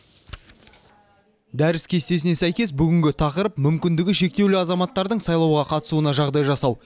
дәріс кестесіне сәйкес бүгінгі тақырып мүмкіндігі шектеулі азаматтардың сайлауға қатысуына жағдай жасау